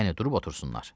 Yəni durub otursunlar.